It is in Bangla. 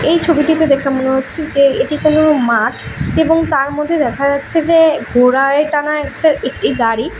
এই ছবিটিতে দেখে মনে হচ্ছে যে এটি কোনো একটা মাঠ এবং তার মধ্যে দেখা যাচ্ছে যে ঘোড়ায় টানা এক একটি গাড়ি।